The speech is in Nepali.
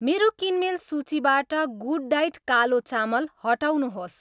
मेरो किनमेल सूचीबाट गुडडायट कालो चामल हटाउनुहोस्